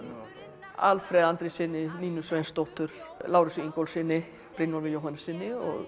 Alfred Andréssyni Nínu Sveinsdóttur Lárusi Ingólfssyni Brynjólfi Jóhannessyni og